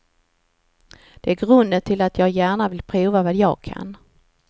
Det är grunden till att jag gärna vill pröva vad jag kan.